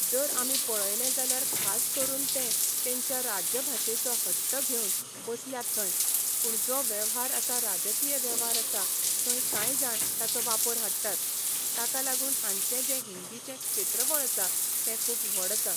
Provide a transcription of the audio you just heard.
जर आमी पळयलें जाल्यार खास करून तें तेंच्या राज्यभाशेचो हट्ट घेवन बसल्यात थंय. पूण जो वेव्हार आसा राजकीय वेव्हार आसा थंय कांय जाण ताचो वापर हाडटात. ताका लागून हांचे जें हिंदीचें क्षेत्रफळ आसा तें खूब व्हड आसा.